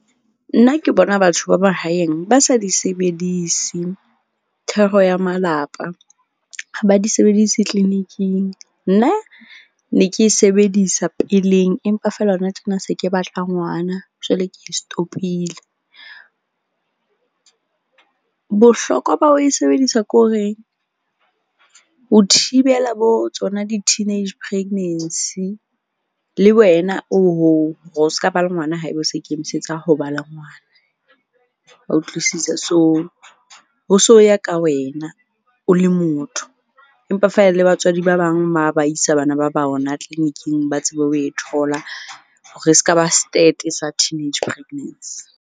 Nna ke bona batho ba mahaeng ba sa di sebedise thero ya malapa. Ha ba di sebedisi clinic-ing. Nna ne ke e sebedisa peleng empa feela hona tjena se ke batla ngwana jwale ke di stop-ile. Bohlokwa ba ho e sebedisa ke horeng ho thibela bo tsona di-teenage pregnancy. Le wena o o ska ba le ngwana haeba o sa ikemisetsa ho ba le ngwana. Wa utlwisisa? So, ho so ya ka wena o le motho empa feela le batswadi ba bang ba isa bana ba ba bona clinic-ing ba tsebe ho e thola. Hore e ska ba sa teenage pregnancy.